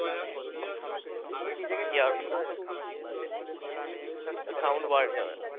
air proof sound পাওয়া যাবেনা।